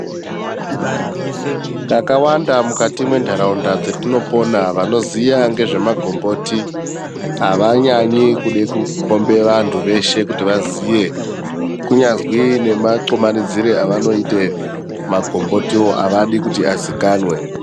Kakawanda muntaraunda dzetinopona, vanoziya ngezvemagomboti avanyanyi kude kukhombe vantu veshe kuti vaziye, kunyazwi nematxumanidzire evanoiita, magombotiwo avadi kuti aziikanwe.